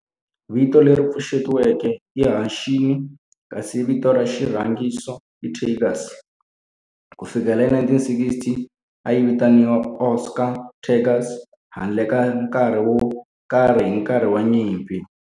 Vito leri pfuxetiweke i"Hanshin" kasi vito ra xirhangiso i"Tigers". Ku fikela hi 1960, a yi vitaniwa Osaka Tigers handle ka nkarhi wo karhi hi nkarhi wa nyimpi.